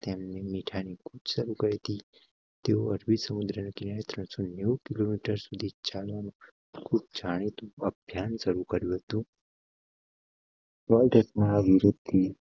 તેમણે મીઠા ની શરૂ કરી હતી. તેઓ અરબી સમુદ્ર કિયા ત્રણસો નેઉ કિલોમીટર સુધી ચાલવા જાણી. તું ધ્યાન શરૂ કર્ય હતુ.